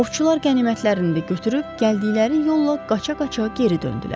Ovçular qənimətlərini də götürüb gəldikləri yolla qaça-qaça geri döndülər.